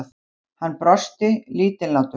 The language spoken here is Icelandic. Hann brosti, lítillátur.